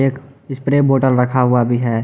एक spray bottle रखा हुआ भी है।